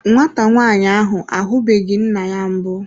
Nwata nwaanyị ahụ ahubeghi nna ya mbụ.